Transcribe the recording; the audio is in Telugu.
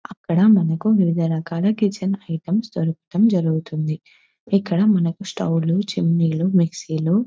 అక్కడ మనకు వివిధ రకాల కిచెన్ ఐటమ్స్ దొరకడం జరుగుతుంది ఇక్కడ మనకు స్టవ్ లు చిమ్ని లు మిక్సీ లు--